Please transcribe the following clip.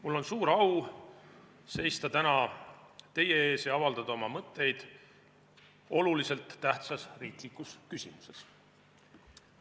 Mul on suur au seista täna teie ees ja avaldada oma mõtteid oluliselt tähtsas riiklikus küsimuses.